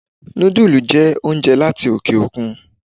Noodles jẹ́ oúnjẹ láti oke òkun